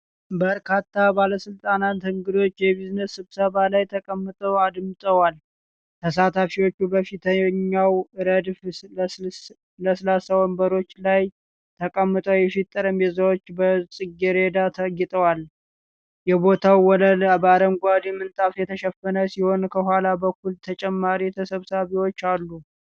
በርካታ ባለስልጣናትና እንግዶች የቢዝነስ ስብሰባ ላይ ተቀምጠው አድምጠዋል። ተሳታፊዎቹ በፊተኛው ረድፍ ለስላሳ ወንበሮች ላይ ተቀምጠው የፊት ጠረጴዛዎች በጽጌረዳ ተጌጠዋል። የቦታው ወለል በአረንጓዴ ምንጣፍ የተሸፈነ ሲሆን ከኋላ በኩል ተጨማሪ ተሰብሳቢዎች አሉ።